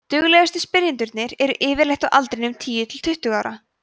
duglegustu spyrjendurnir eru yfirleitt á aldrinum tíu til tuttugu ára